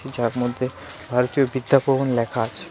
যার মধ্যে ভারতীয় বিদ্যাভবন লেখা আছে .